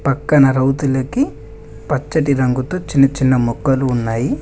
పక్కన రౌతులకి పచ్చటి రంగుతో చిన్న చిన్న మొక్కలు ఉన్నాయి.